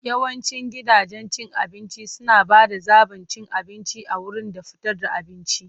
Yawancin gidajen cin abinci suna ba da zaɓin cin abinci a wurin da fitar da abinci.